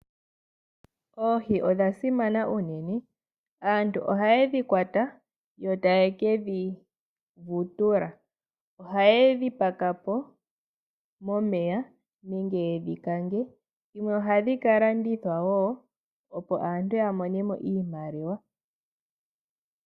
Oohi odha simana unene. Aantu oha ye dhi kwata, yo ta ye kedhi vutula. Oha ye dhi paka po momeya, nenge ye dhi kange, dhimwe ohadhi ka landithwa wo, opo aantu ya mone mo iimaliwa .